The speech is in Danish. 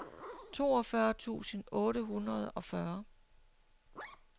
toogfyrre tusind otte hundrede og fyrre